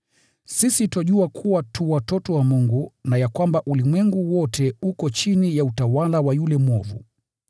Sisi twajua kuwa tu watoto wa Mungu na ya kwamba ulimwengu wote uko chini ya utawala wa yule mwovu.